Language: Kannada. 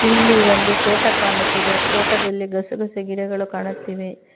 ಇಲ್ಲಿ ಒಂದು ತೋಟ ಕಾಣುತ್ತಿದೆ ತೋಟದಲ್ಲಿ ಗಸ ಗಸೆ ಗಿಡಗಳು ಕಾಣುತ್ತಿವೆ.